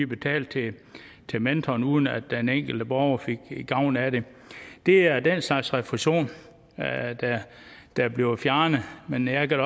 betalte til mentoren uden at den enkelte borger fik gavn af det det er den slags refusion der bliver fjernet men jeg kan